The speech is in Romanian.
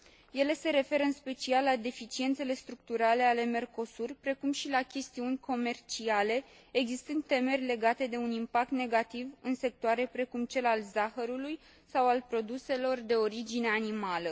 Ele se referă, în special, la deficiențele structurale ale Mercosur, precum și la chestiuni comerciale, existând temeri legate de un impact negativ în sectoare precum cel al zahărului sau al produselor de origine animală.